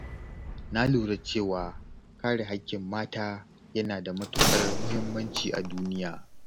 Na lura cewa kare haƙƙin mata yana da matuƙar muhimmanci a duniya.